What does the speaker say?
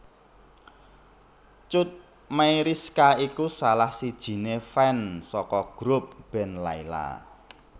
Cut Meyriska iku salah sijine fans saka grup band Lyla